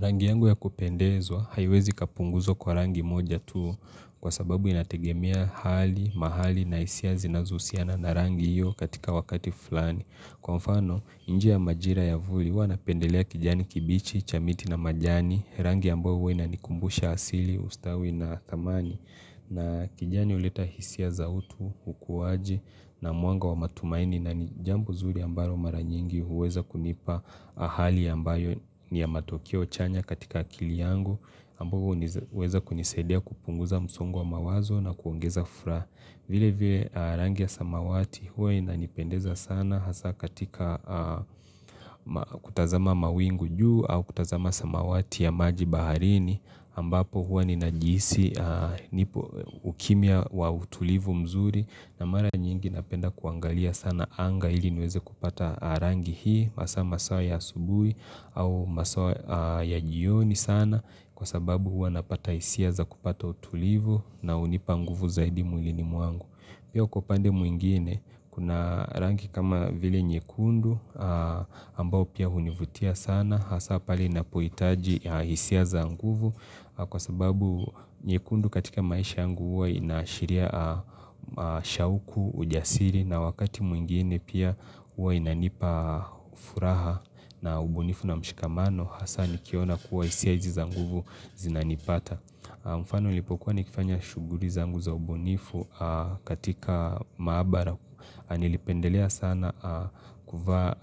Rangi yangu ya kupendezwa haiwezi ikapunguzwa kwa rangi moja tu kwa sababu inategemea hali, mahali na hisia zinazohusiana na rangi hiyo katika wakati fulani. Kwa mfano, nje ya majira ya vuli, huwa napendelea kijani kibichi, cha miti na majani, rangi ambayo huwa inanikumbusha asili, ustawi na thamani. Na kijani huleta hisia za utu, ukuaji na mwanga wa matumaini na ni jambo zuri ambalo mara nyingi huweza kunipa hali ambayo ni ya matokeo chanya katika akili yangu, ambao huweza kunisadia kupunguza msongo wa mawazo na kuongeza furaha. Vile vile rangi ya samawati huwa inanipendeza sana Hasa katika kutazama mawingu juu au kutazama samawati ya maji baharini ambapo huwa ninajihisi nipo ukimya wa utulivu mzuri na mara nyingi napenda kuangalia sana anga ili niweze kupata rangi hii hasa masaa ya asubuhi au masaa ya jioni sana Kwa sababu hua napata hisia za kupata utulivu na hunipa nguvu zaidi mwilini mwangu Pia kwa upande mwingine kuna rangi kama vile nyekundu ambao pia hunivutia sana Hasa pahali napohitaji hisia za nguvu kwa sababu nyekundu katika maisha yangu hua inaashiria shauku, ujasiri na wakati mwingine pia huwa inanipa furaha na ubunifu na mshikamano, hasa nikiona kuwa hisia hizi nguvu zinanipata mfano, nilipokuwa nikifanya shuguli zangu za ubunifu katika maabara, nilipendelea sana kuvaa